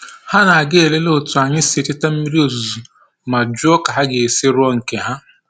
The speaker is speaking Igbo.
Ha na-aga elere otu anyị si echeta mmiri ozuzu ma jụọ ka ha ga-esi rụọ nke ha